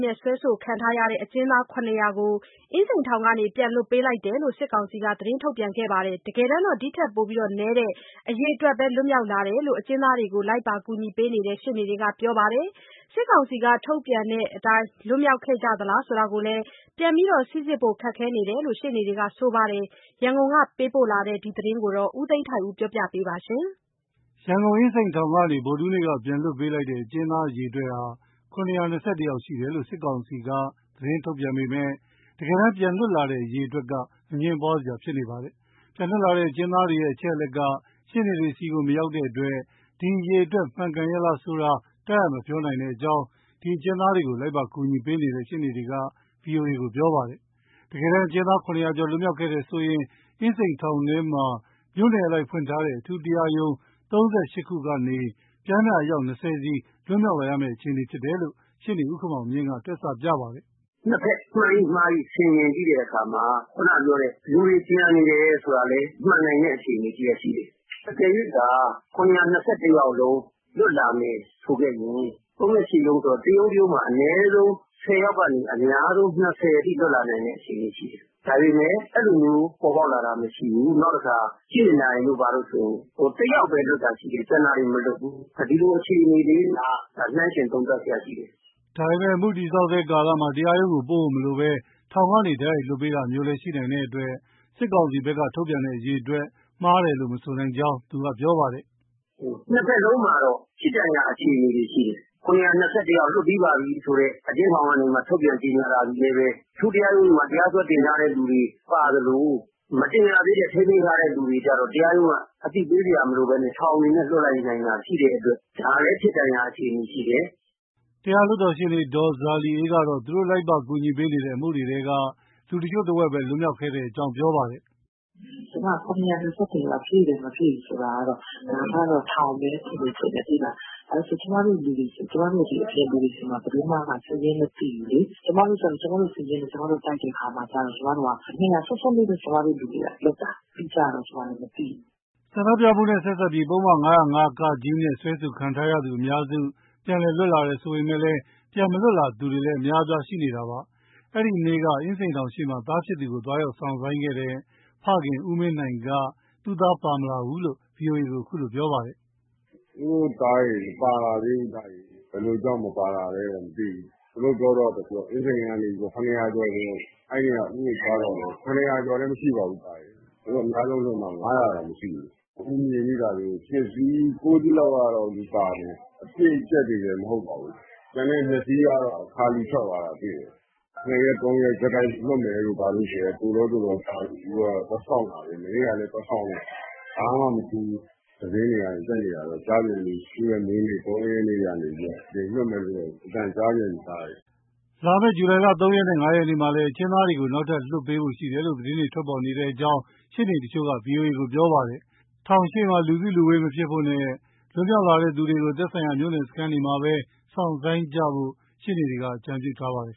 နဲ့ စွဲဆိုခံရတဲ့ အကျဉ်းသား ၇၀၀ကျော်ကို အင်းစိန်ထောင်ကနေ ပြန်လွတ်ပေးလိုက်ကြောင်း စစ်ကောင်စီက သတင်းထုတ်ပြန်ခဲ့ပေမဲ့ တကယ်တမ်းတော့ ဒီထက်နည်းတဲ့ အရေအတွက်ပဲ လွတ်မြောက်လာတယ် လို့အကျဉ်းသားတွေကို လိုက်ပါကူညီပေးနေတဲ့ ရှေ့နေတွေက ပြောပါတယ်။ စစ်ကောင်စီက ထုတ်ပြန်တဲ့အတိုင်း လွတ်မြောက်လာခဲ့လား ဆိုတာကတော့ ပြန်စိစစ်ဖို့ခက်ခဲတယ်လို့လည်း ရှေ့နေတွေက ပြောပါတယ်။ ရန်ကုန်ကပေးပို့လာတဲ့ ဒီသတင်းကိုတော့ ဗွီအိုအေမြန်မာပိုင်းသတင်းထောက် ကိုသိန်းထိုက်ဦး က ပြောပြပေးမှာပါ။ ရန်ကုန် အင်းစိန်ထောင်ကနေ ဗုဒ္ဓဟူးနေ့က ပြန်လွတ်ပေးလိုက်တဲ့ အကျဉ်းသားအရေအတွက်ဟာ ၇၂၁ ယောက်ရှိတယ်လို့ စစ်ကောင်စီက သတင်းထုတ်ပြန် ခဲ့ပေမဲ့ တကယ်တန်းပြန်လွတ်လာတဲ့အရေအတွက်က အငြင်းပွားစရာ ဖြစ်နေပါတယ်။ ပြန်လွတ်လာတဲ့ အကျဉ်းသားတွေရဲ့ အချက်အလက်က ရှေ့နေတွေဆီကိုလည်း မရောက်တဲ့အတွက် ဒီအရေအတွက်က မှန်ကန်ရဲ့လားဆိုတာ တပ်အပ် မပြောနိုင်ကြောင်း ဒီအကျဉ်းသားတွေကို လိုက်ပါကူညီပေးနေတဲ့ ရှေ့နေတွေက ဗွီအိုအေကို ပြောပါတယ်။ တကယ်တမ်း အကျဉ်းသား ၇၀၀ ကျော် လွတ်မြောက်ခဲ့တယ်ဆိုလျှင် အင်းစိန်ထောင်ထဲမှာ မြို့နယ်အလိုက်ဖွင့်ထားတဲ့ အထူးတရားရုံး (၃၈) ခုကနေ ပျမ်းမျှအယောက် ၂၀ စီလွတ်မြောက်လာရမယ့်အခြေအနေဖြစ်တယ်လို့ ရှေ့နေဦးခင်မောင်မြင့်က တွက်ဆပြပါတယ်။ “ နှစ်ဘက် မှန်၏၊ မှား၏ ဆင်ခြင်ကြည့်တဲ့အခါမှာ ခုနကပြောတဲ့ လူတွေကျန်နေတယ် ဆိုတာကလည်း မှန်နိုင်တဲ့ အခြေအနေတရပ်ရှိတယ်။ အကယ်၍သာ ၇၂၁ ယောက်လုံး လွတ်လာမယ်ဆိုခဲ့ရင် ၃၈ ရုံးဆိုတော့ တရုံးတရုံးမှာ အနည်းဆုံး ၁၀ ယောက်ကနေ အများဆုံး ၂၀ အထိ လွတ်လာနိုင်တဲ့ အခြေအနေရှိတယ်။ ဒါပေမဲ့ အဲလိုမျိုး ပေါ်ပေါက်လာတာမရှိဘူး။ နောက်တခါ ကြည့်မြင့်တိုင်တို့ ဘာတို့ဆိုရင် တယောက်ပဲ လွတ်တာရှိတယ်၊ ကျန်တာတွေ မလွတ်ဘူး။ ဒီလိုအခြေအနေလေးတွေက နှိုင်းယှဉ် သုံးသပ်စရာရှိတယ်။” ဒါပေမဲ့ အမှုတည်ဆောက်ဆဲကာလမှာ တရားရုံးကိုပို့ဖို့မလိုဘဲ ထောင်ကနေတိုက်ရိုက် လွတ်ပေးတာမျိုးလည်း ရှိနိုင်တဲ့အတွက် စစ်ကောင်စီဘက်က ထုတ်ပြန်တဲ့အရေအတွက်ဟာ မှားတယ်လို့လည်း မဆိုနိုင်ကြောင်း သူကပြောပါတယ်။ “ နှစ်ဘက်လုံးမှာတော့ ဖြစ်တန်ရာ အခြေအနေတွေရှိတယ်။ ၇၂၁ ယောက် လွတ်ပြီးပါပြီဆိုတဲ့ အကျဉ်းထောင်ကနေ ထုတ်ပြန်ကြေညာတာသည်လည်း အထူးတရားရုံးတွေမှာ တရားစွဲတင်ထားတဲ့သူတွေ ပါသလို မတင်ရသေးတဲ့ ထိန်းသိမ်းထားတဲ့လူတွေကျတော့ တရားရုံးက အသိပေးစရာမလိုဘဲ ထောင်အနေနဲ့ လွှတ်လိုက်နိုင်တာ ရှိတဲ့အတွက် ဒါလည်းဖြစ်တန်ရာ အခြေအနေရှိတယ်။” တရားလွှတ်တော်ရှေ့နေ ဒေါ်ဇာလီအေးကတော့ သူတို့လိုက်ပါကူညီပေးနေတဲ့ အမှုတွေထဲက လူတချို့တဝက်ပဲ လွတ်မြောက်လာခဲ့ကြောင်း ပြောပါတယ်။ “ ကျမက ၇၂၁ ယောက် ပြည့်တယ်မပြည့်ဘူးဆိုတာကတော့ ဒါကတော့ ထောင်ကပဲဖြေမယ်ထင်တယ်။ ဘာလို့ဆို ကျမတို့အပြင်လူတွေဆီမှာ ဘယ်သူကမှ စာရင်းမသိဘူးလေ။ ကျမတို့က ကျမတို့စာရင်းနဲ့ တိုက်တဲ့အခါမှာကျတော့ ၂၀၀ စွန်းစွန်းလေးပဲ ကျမတို့လူတွေကလွတ်တာ။ အတိအကျတော့ ကျမလည်း မသိဘူး။” ဆန္ဒပြမှုနဲ့ဆက်စပ်ပြီး ပုဒ်မ ၅၀၅(က)နဲ့ စွဲဆိုခံရသူအများစုက ပြန်လွတ်လာတယ်ဆိုပေမဲ့ ပြန်မလွတ်လာသူတွေလည်း အများအပြားရှိနေတာပါ။ အဲဒီနေ့က အင်းစိန်ထောင်ရှေ့မှာ သားဖြစ်သူကို သွားရောက်စောင့်ဆိုင်းခဲ့တဲ့ ဖခင်ဖြစ်သူ ဦးမင်းနိုင်က သားဖြစ်သူမပါလာဘူးလို့ ဗွီအိုအေကို အခုလိုပြောပါတယ်။ “ အများဆုံးလွှတ်မှ ၅၀၀ တောင်မရှိဘူး။ ဦးမြင်မိတာဆို ရှစ်စီး၊ ကိုးစီးလောက်က လူပါတယ်။ အပြည့်အကြပ်တွေလည်း မဟုတ်ပါဘူး။ ကျန်တဲ့ ၂ စီးကတော့ ခါလီထွက်သွားတာတွေ့တယ်။ နှစ်ရက်၊ သုံးရက်ဆက်တိုက် လွှတ်မယ်တို့ဘာတို့ဆိုတဲ့ သို့လော သို့လောကြားလို့ ဦးတို့ကသွားစောင့်တာပဲ၊ မနေ့ကလည်း သွားစောင့်တယ်၊ ဘာမှမထူးဘူး။ သတင်းတွေကနေ တက်နေတာတော့ ကြားပြန်ပြီ သူရဲ့မွေးနေ့ ၃ ရက်နေ့ကနေပြီးတော့ တကြိမ်လွတ်မယ်လို့ အသံကြားပြန်ပြီ။” လာမယ့်ဇူလိုင် ၃ ရက်နဲ့ ၅ ရက်မှာလည်း အကျဉ်းသားတွေကို နောက်ထပ်လွတ်ပေးဖို့ရှိတယ်လို့ သတင်းထွက်ပေါ်နေတယ်လို့ ရှေ့နေတချို့က ဗွီအိုအေကို ပြောပါတယ်။ ထောင်ရှေ့မှာ လူစုလူဝေးမဖြစ်ဖို့နဲ့ လွတ်မြောက်လာသူတွေကို သက်ဆိုင်ရာ မြို့နယ်ရဲစခန်းတွေမှာပဲ စောင့်ဆိုင်းကြဖို့ ရှေ့နေတွေက အကြုံပြုထားပါတယ်